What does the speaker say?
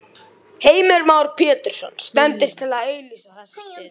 Heimir Már Pétursson: Stendur til að auglýsa þessa stöðu?